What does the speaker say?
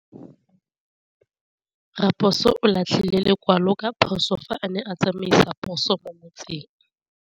Raposo o latlhie lekwalô ka phosô fa a ne a tsamaisa poso mo motseng.